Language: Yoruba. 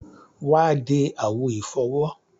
Wà á de àwo ìfọwọ́.